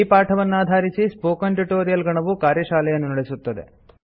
ಈ ಪಾಠವನ್ನಾಧಾರಿಸಿ spoken tutorial ಗಣವು ಕಾರ್ಯಶಾಲೆಯನ್ನು ನಡೆಸುತ್ತದೆ